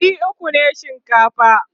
ɗari ukwu ne shinkafa